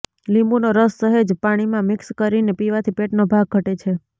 લીંબુનો રસ સહેજ પાણીમાં મિક્સ કરીને પીવાથી પેટનો ભાગ ઘટે છે